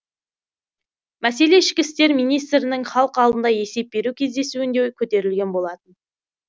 мәселе ішкі істер министрінің халық алдында есеп беру кездесуінде көтерілген болатын